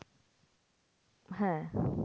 হ্যাঁ